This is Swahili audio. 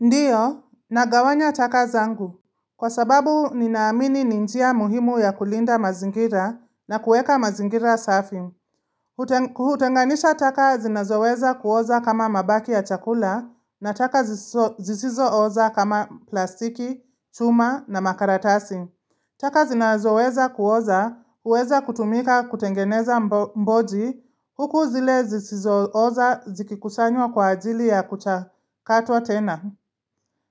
Ndiyo, nagawanya taka zangu. Kwa sababu, ninaamini ninjia muhimu ya kulinda mazingira na kueka mazingira safi. Hutenganisha taka zinazoweza kuoza kama mabaki ya chakula na taka zisizo oza kama plastiki, chuma na makaratasi. Taka zinazoweza kuoza, huweza kutumika kutengeneza mboji huku zile zisizo oza zikikusanywa kwa ajili ya kucha kato tena.